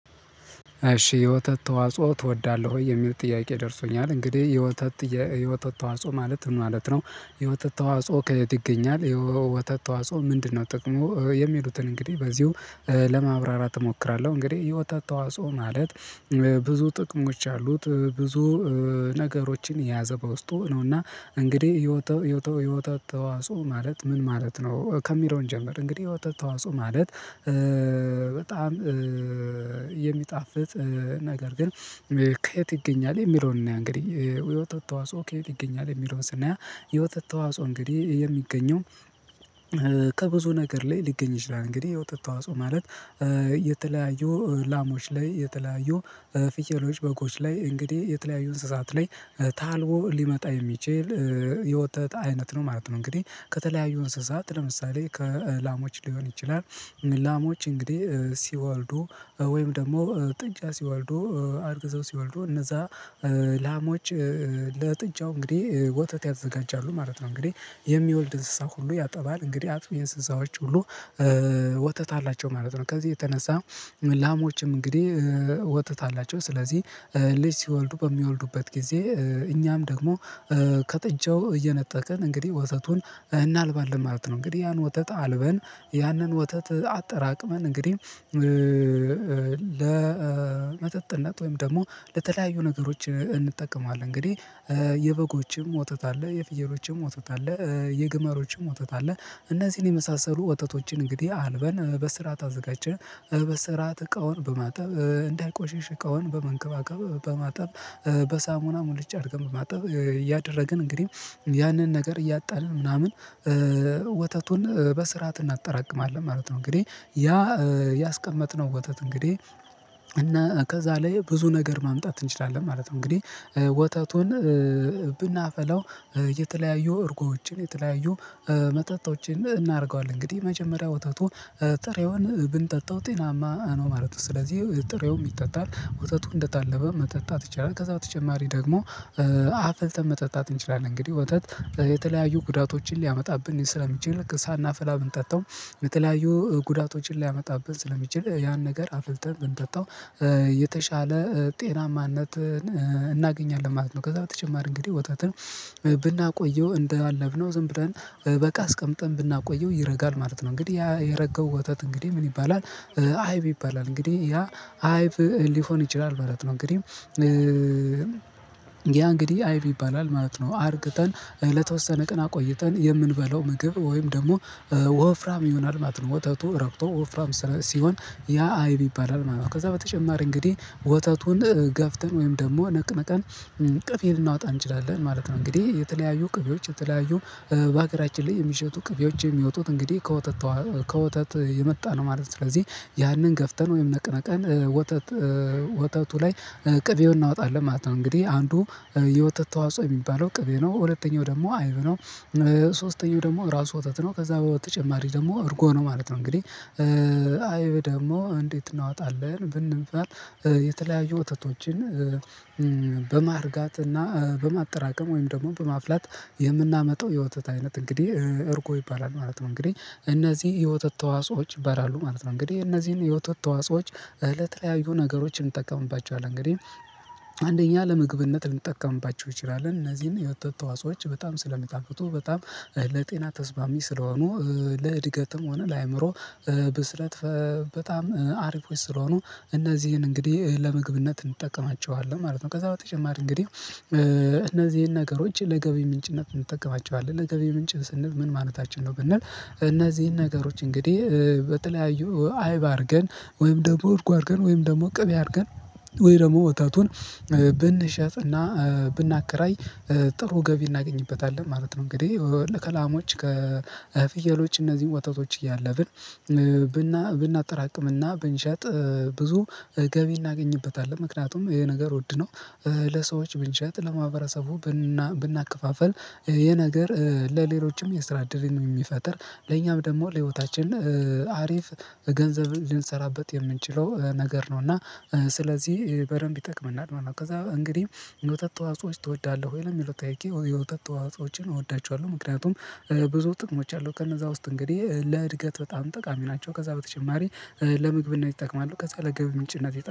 እሺ የወተት ተዋጽኦ ትወዳለህ ወይ የሚል ጥያቄ ደርሶኛል። እንግዲህ የወተት የወተት ተዋጽኦ ማለት ምን ማለት ነው? የወተት ተዋጽኦ ከየት ይገኛል የወተት ተዋጾ ምንድነው ጥቅሙ? የሚሉትን እንግዲህ በዚሁ ለማብራራት እሞክራለሁ። እንግዲህ የወተት ተዋጽኦ ማለት ብዙ ጥቅሞች አሉት። ብዙ ነገሮችን የያዘ በውስጡ ነውና። እና እንግዲህ የውተ ት የወተት ተዋጽኦ ማለት ምን ማለት ነው ከሚለው እንጀምር። እንግዲህ የወተት ተዋጽኦ ማለት በጣም የሚጣፍጥ ነገር ግን ከየት ይገኛል? የሚለውን እንያ እንግዲህ የወተት ተዋጽኦ ከየት ይገኛል? የሚለውን ስናይ የወተት ተዋጽኦ እንግዲህ የሚገኘው ከብዙ ነገር ላይ ሊገኝ ይችላል። እንግዲህ የውጥ ተዋጽኦ ማለት የተለያዩ ላሞች ላይ የተለያዩ ፍየሎች በጎች ላይ እንግዲህ የተለያዩ እንስሳት ላይ ታልቦ ሊመጣ የሚችል የወተት አይነት ነው ማለት ነው። እንግዲህ ከተለያዩ እንስሳት ለምሳሌ ከላሞች ሊሆን ይችላል። ላሞች እንግዲህ ሲወልዱ ወይም ደግሞ ጥጃ ሲወልዱ አርግዘው ሲወልዱ እነዛ ላሞች ለጥጃው እንግዲህ ወተት ያዘጋጃሉ ማለት ነው። እንግዲህ የሚወልድ እንስሳ ሁሉ ያጠባል እንግዲህ አጥቢ የእንስሳዎች ሁሉ ወተት አላቸው ማለት ነው። ከዚህ የተነሳ ላሞችም እንግዲህ ወተትአላቸው ስለዚህ ልጅ ሲወልዱ በሚወልዱበት ጊዜ እኛም ደግሞ ከጥጃው እየነጠቀን እንግዲህ ወተቱን እናልባለን ማለት ነው። እንግዲህ ያን ወተት አልበን ያንን ወተት አጠራቅመን እንግዲህ ለመጠጥነት ወይም ደግሞ ለተለያዩ ነገሮች እንጠቀማለን። እንግዲህ የበጎችም ወተት አለ የፍየሎችም ወተት አለ። የግመሎችም ወተት አለ። እነዚህን የመሳሰሉ ወተቶችን እንግዲህ አልበን በስራአት አዘጋጀተን በስራ ትቃውን በማጠብ እንዳይቆሽሽ እቃውን በመንከባከብ በማጠብ በሳሙና ሙልጭ አድርገን በማጠብ እያደረግን እንግዲህ ያንን ነገር እያጠንን ምናምን ወተቱን በስርዓት እናጠራቅማለን ማለት ነው። እንግዲህ ያ ያስቀመጥነው ወተት እንግዲህ እና ከዛ ላይ ብዙ ነገር ማምጣት እንችላለን ማለት ነው። እንግዲህ ወተቱን ብናፈላው የተለያዩ እርጎችን የተለያዩ መጠጦችን እናደርገዋለን እንግዲህ የመጀመሪያው ወተቱ ጥሬውን ብንጠጣው ጤናማ ነው ማለት ነው። ስለዚህ ጥሬውም ይጠጣል ወተቱ እንደታለበ መጠጣት ይችላል። ከዛ በተጨማሪ ደግሞ አፍልተን መጠጣት እንችላለን። እንግዲህ ወተት በተለያዩ ጉዳቶችን ሊያመጣብን ስለሚችል ሳናፈላ ብንጠጣው በተለያዩ ጉዳቶችን ሊያመጣብን ስለሚችል ያን ነገር አፍልተን ብንጠጣው የተሻለ ጤናማነት እናገኛለን ማለት ነው። ከዛ በተጨማሪ እንግዲህ ወተትን ብናቆየው እንዳለብነው ዝም ብለን በቃ አስቀምጠን ብናቆየው ይረጋል ማለት ነው። እንግዲህ ያ የረገው ወተት እንግዲህ ምን ይባላል? አይብ ይባላል እንግዲህ ያ አይቭ ሊሆን ይችላል ማለት ነው። እንግዲህ ያ እንግዲህ አይብ ይባላል ማለት ነው። አርግተን ለተወሰነ ቀን አቆይተን የምንበላው ምግብ ወይም ደግሞ ወፍራም ይሆናል ማለት ነው። ወተቱ ረግቶ ወፍራም ሲሆን ያ አይብ ይባላል ማለት ነው። ከዛ በተጨማሪ እንግዲህ ወተቱን ገፍተን ወይም ደግሞ ነቅነቀን ቅቤ ልናወጣ እንችላለን ማለት ነው። እንግዲህ የተለያዩ ቅቤዎች የተለያዩ በሀገራችን ላይ የሚሸጡ ቅቤዎች የሚወጡት እንግዲህ ከወተት የመጣ ነው ማለት ነው። ስለዚህ ያንን ገፍተን ወይም ነቅንቀን ወተት ወተቱ ላይ ቅቤውን እናወጣለን ማለት ነው። እንግዲህ አንዱ የወተት ተዋጽኦ የሚባለው ቅቤ ነው ሁለተኛው ደግሞ አይብ ነው። ሶስተኛው ደግሞ ራሱ ወተት ነው ከዛ በተጨማሪ ደግሞ እርጎ ነው ማለት ነው። እንግዲህ አይብ ደግሞ እንዴት እናወጣለን? ብንባል የተለያዩ ወተቶችን በማርጋት እና በማጠራቀም ወይም ደግሞ በማፍላት የምናመጣው የወተት አይነት እንግዲህ እርጎ ይባላል ማለት ነው። እንግዲህ እነዚህ የወተት ተዋጽኦዎች ይባላሉ ማለት ነው። እንግዲህ እነዚህን የወተት ተዋጽኦዎች እለት ለተለያዩ ነገሮችን እንጠቀምባቸዋለን። እንግዲህ አንደኛ ለምግብነት ልንጠቀምባቸው እንችላለን እነዚህን የወተት ተዋጾዎች በጣም ስለሚጣፍጡ በጣም ለጤና ተስማሚ ስለሆኑ ለእድገትም ሆነ ለአእምሮ ብስለት በጣም አሪፎች ስለሆኑ እነዚህን እንግዲህ ለመግብነት እንጠቀማቸዋለን ማለት ነው። ከዛ በተጨማሪ እንግዲህ እነዚህን ነገሮች ለገቢ ምንጭነት እንጠቀማቸዋለን ለገቢ ምንጭ ስንል ምን ማለታችን ነው? ብንል እነዚህን ነገሮች እንግዲህ በተለያዩ አይብ አርገን ወይም ደግሞ አርጎ አርገን ወይም ደግሞ ቅቤ አርገን ወይ ደግሞ ብንሸጥና ብናከራይ ጥሩ ገቢ እናገኝበታለን ማለት ነው። እንግዲህ ከላሞች ከፍየሎች እነዚህን ወተቶች እያለብን ብናጠራቅምና ብንሸጥ ብዙ ገቢ እናገኝበታለን። ምክንያቱም ይሄ ነገር ወድነው ለሰዎች ብንሸጥ ለማህበረሰቡ ብናከፋፈል ይሄ ነገር ለሌሎችም የስራ እድልን የሚፈጥር ለኛም ደግሞ ለህይወታችን አሪፍ ገንዘብ ልንሰራበት የምንችለው ነገር ነው። እና ስለዚህ በደንብ ይጠቅመናል። ከዛ እንግዲህ የወተት ተዋጽኦች ትወዳለህ ወይ ለሚለው ጠይቄ የወተት ተዋጽኦዎችን እወዳቸዋለሁ። ምክንያቱም ብዙ ጥቅሞች አሉ ከነዛ ውስጥ እንግዲህ ለእድገት በጣም ጠቃሚ ናቸው። ከዛ በተጨማሪ ለምግብነት ይጠቅማሉ። ከዛ ለገቢ ምንጭነት ይጠቅማሉ